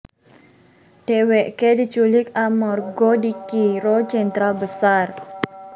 Dhèwèkè diculik amarga dikira Jenderal Besar